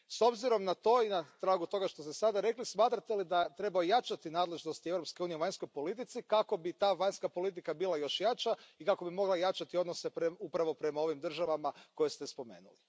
S obzirom na to i na tragu toga što ste sada rekli smatrate li da treba ojačati nadležnosti Europske unije u vanjskoj politici kako bi ta vanjska politika bila još jača i kako bi mogla jačati odnose upravo prema ovim državama koje ste spomenuli?